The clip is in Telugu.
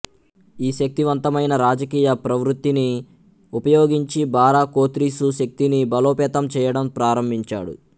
ఈ శక్తివంతమైన రాజకీయ ప్రవృత్తిని ఉపయోగించి బారా కోత్రిసు శక్తిని బలోపేతం చేయడం ప్రారంభించాడు